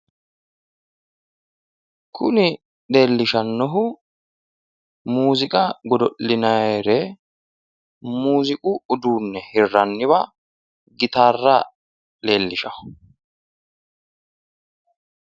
kuni leelishshannohu muuziqa godo'linaayre, muziiqu uduunne hirranniwa gitarra leellishshanno.